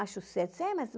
acho certo